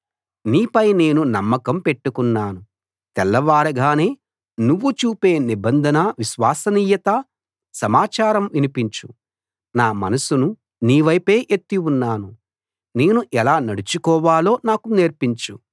నీపై నేను నమ్మకం పెట్టుకున్నాను తెల్లవారగానే నువ్వు చూపే నిబంధన విశ్వసనీయత సమాచారం వినిపించు నా మనసును నీ వైపే ఎత్తి ఉన్నాను నేను ఎలా నడుచుకోవాలో నాకు నేర్పించు